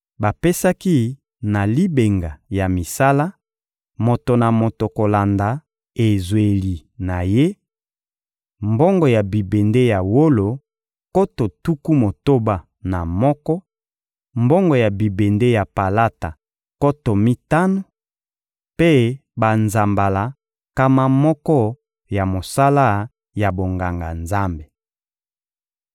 Bapesaki na libenga ya misala, moto na moto kolanda ezweli na ye, mbongo ya bibende ya wolo nkoto tuku motoba na moko, mbongo ya bibende ya palata nkoto mitano, mpe banzambala nkama moko ya mosala ya bonganga-Nzambe.